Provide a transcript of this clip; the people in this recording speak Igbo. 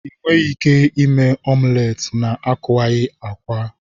Ị nweghị ike ime omulet na-akuwaghi akwa.